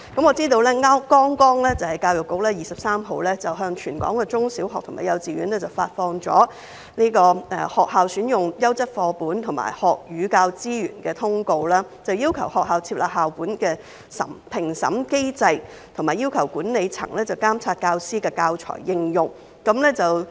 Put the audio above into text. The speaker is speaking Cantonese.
我知道教育局剛剛在本月23日向全港中小學及幼稚園發出"學校選用優質課本和學與教資源"的通函，要求學校設立校本評審機制，以及要求管理層監察教師的教材應用。